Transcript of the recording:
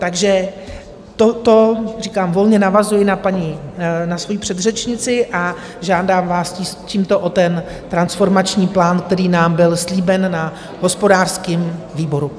Takže toto, říkám, volně navazuji na svoji předřečnici a žádám vás tímto o ten transformační plán, který nám byl slíben na hospodářském výboru.